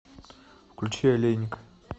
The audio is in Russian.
включи олейник